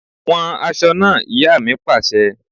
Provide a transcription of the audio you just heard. Wọn aṣọ náà! Ìyá mi pàṣẹ.